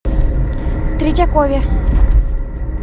третьякове